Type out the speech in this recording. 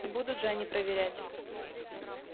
не будут же они проверять